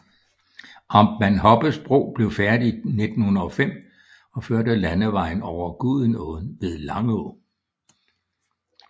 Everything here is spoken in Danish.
Amtmand Hoppes Bro blev færdig i 1905 og førte landevejen over Gudenåen ved Langå